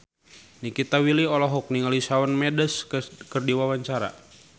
Nikita Willy olohok ningali Shawn Mendes keur diwawancara